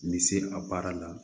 Ni se a baara la